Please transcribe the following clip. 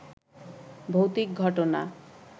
ভৌতিক ঘটনা